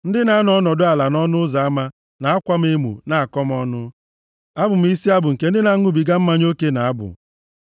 Ndị na-anọ ọnọdụ ala nʼọnụ ụzọ ama, na-akwa m emo, na-akọ m ọnụ, abụ m isi abụ nke ndị na-aṅụbiga mmanya oke na-abụ.